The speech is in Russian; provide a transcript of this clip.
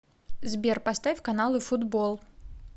сбер поставь каналы футбол